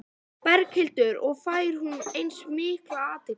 Berghildur: Og fær hún eins mikla athygli?